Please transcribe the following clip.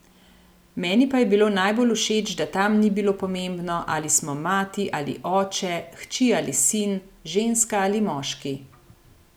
Meni pa je bilo najbolj všeč, da tam ni bilo pomembno, ali smo mati ali oče, hči ali sin, ženska ali moški.